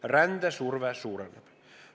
Rändesurve suureneb.